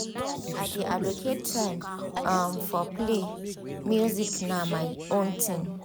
i dey allocate time um for play music na my own thing.